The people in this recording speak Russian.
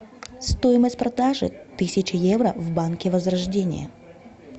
стоимость продажи тысячи евро в банке возрождение